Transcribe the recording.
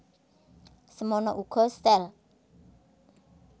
Semana uga sel